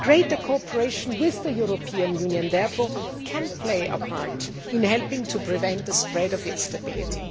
Greater cooperation with the European Union can therefore play a part in helping to prevent the spread of instability.